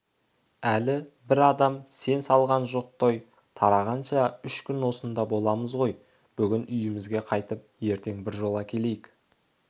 әлі бір адам ән салған жоқ той тарағанша үш күн осында боламыз ғой бүгін үйімізге қайтып ертең біржола келейік